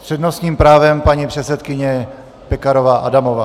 S přednostním právem paní předsedkyně Pekarová Adamová.